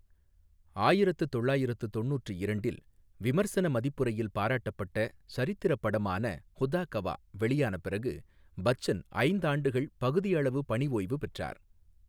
ஆயிரத்து தொள்ளாயிரத்து தொண்ணுற்று இரண்டில் விமர்சன மதிப்புரையில் பாராட்டப்பட்ட சரித்திரப் படமான ஹுதா கவா வெளியான பிறகு, பச்சன் ஐந்தாண்டுகள் பகுதியளவு பணிஓய்வு பெற்றார்.